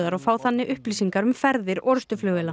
og fá þannig upplýsingar um ferðir orrustuflugvéla